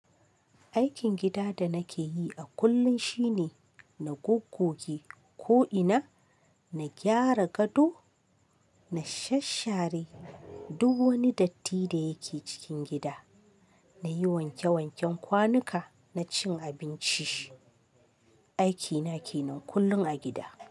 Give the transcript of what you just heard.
Aikin gida da nake yi a kullum shine na gogoge ko'ina, na gyara gado, na shasshare duk wani datti da yake cikin gida, na yi wanke wanken kwanuka, na cin abinci. Aiki na ke nan kullum a gida.